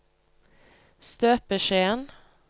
støpeskjeen